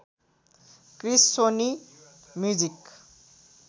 Chris Sony music